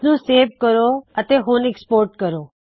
ਇਸ ਨੂੰ ਸੇਵ ਕਰੋ ਅਤੇ ਹੁਣ ਐਕ੍ਸਪੋਰਟ ਕਰੋ